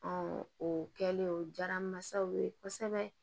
o kɛlen o diyara n masaw ye kosɛbɛ